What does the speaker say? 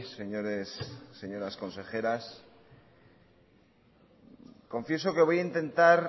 señores señoras consejeras confieso que voy a intentar